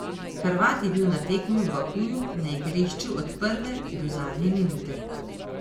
Hrvat je bil na tekmi v Bakuju na igrišču od prve do zadnje minute.